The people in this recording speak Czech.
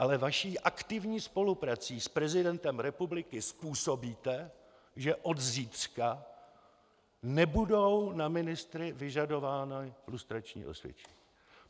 Ale svou aktivní spoluprací s prezidentem republiky způsobíte, že od zítřka nebudou na ministry vyžadována lustrační osvědčení.